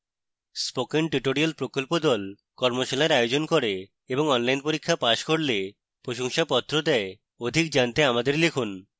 spoken tutorial প্রকল্প the কর্মশালার আয়োজন করে এবং online পরীক্ষা pass করলে প্রশংসাপত্র দেয়